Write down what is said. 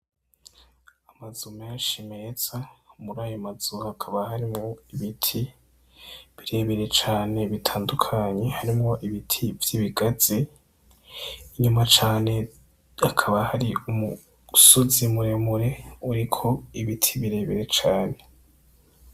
Amazu menshi meza muri ayo mazu hakaba harimwo ibiti bire bire cane bitandukanye harimwo ibiti vy' ibigazi, inyuma cane hakaba hari umusozi mure mure uriko ibiti bire bire cane.